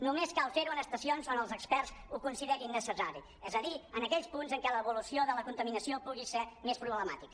només cal fer·ho en estacions on els experts ho consi·derin necessari és a dir en aquells punts en què l’evolució de la contaminació pugui ser més problemàtica